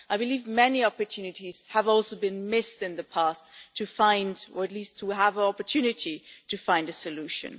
I believe many opportunities have also been missed in the past to find, or at least to have the opportunity to find, a solution.